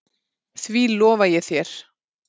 Því lofa ég þér